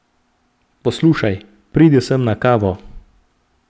Poslušaj, pridi sem na kavo.